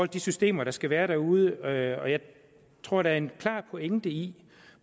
de systemer der skal være derude og jeg tror der er en klar pointe i